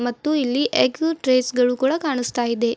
ಮತ್ತು ಇಲ್ಲಿ egg trays ಕೂಡ ಕಾಣುತ್ತಿವೆ.